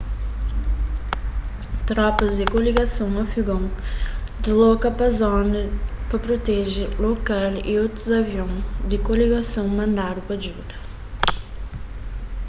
tropas di koligason afegon disloka pa zona pa proteje lokal y otus avion di koligason mandadu pa djuda